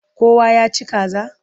Kowa ya ci kaza?